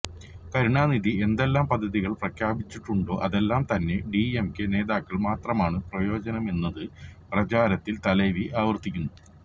കരുണാനിധി എന്തെല്ലാം പദ്ധതികള് പ്രഖ്യാപിച്ചിട്ടുണ്ടോ അതെല്ലാം തന്നെ ഡി എം കെ നേതാക്കള്ക്ക് മാത്രമാണ് പ്രയോജനമായതെന്ന് പ്രചാരണത്തില് തലൈവി ആവര്ത്തിക്കുന്നു